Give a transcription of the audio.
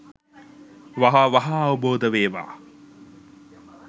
වහ වහා අවබෝද වේවා